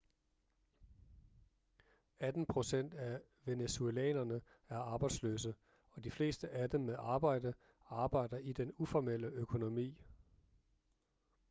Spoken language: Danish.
atten procent af venezuelanere er arbejdsløse og de fleste af dem med arbejde arbejder i den uformelle økonomi